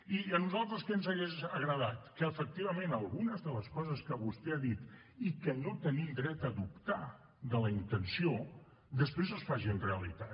i a nosaltres què ens hagués agradat que efectivament algunes de les coses que vostè ha dit i que no tenim dret a dubtar de la intenció després es facin realitat